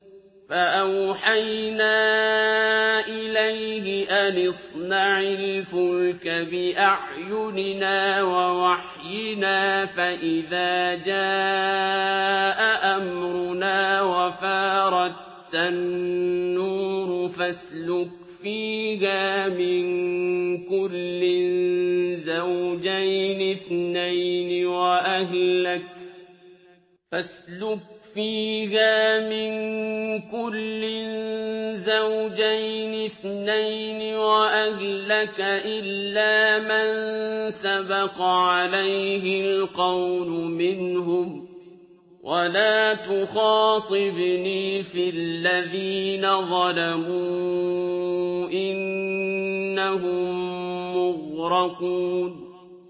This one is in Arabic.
فَأَوْحَيْنَا إِلَيْهِ أَنِ اصْنَعِ الْفُلْكَ بِأَعْيُنِنَا وَوَحْيِنَا فَإِذَا جَاءَ أَمْرُنَا وَفَارَ التَّنُّورُ ۙ فَاسْلُكْ فِيهَا مِن كُلٍّ زَوْجَيْنِ اثْنَيْنِ وَأَهْلَكَ إِلَّا مَن سَبَقَ عَلَيْهِ الْقَوْلُ مِنْهُمْ ۖ وَلَا تُخَاطِبْنِي فِي الَّذِينَ ظَلَمُوا ۖ إِنَّهُم مُّغْرَقُونَ